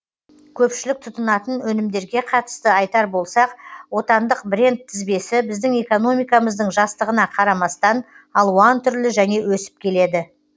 көпшілік тұтынатын өнімдерге қатысты айтар болсақ отандық бренд тізбесі біздің экономикамыздың жастығына қарамастан алуан түрлі және өсіп келеді